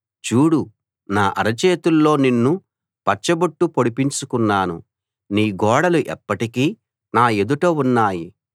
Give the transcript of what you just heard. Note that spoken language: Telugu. చూడు నా అరచేతుల్లో నిన్ను పచ్చబొట్టు పొడిపించుకున్నాను నీ గోడలు ఎప్పటికీ నా ఎదుట ఉన్నాయి